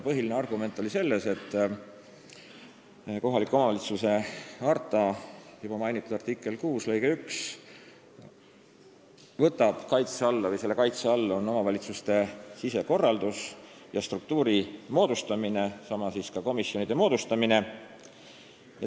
Põhiline argument oli see, et Euroopa kohaliku omavalitsuse harta juba mainitud artikli 6 lõike 1 kaitse all on omavalitsuste sisekorraldus ja struktuuride moodustamine, samuti komisjonide moodustamine.